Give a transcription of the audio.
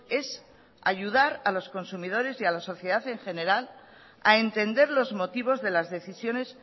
es ayudar a los consumidores y a la sociedad en general a entender los motivos de las decisiones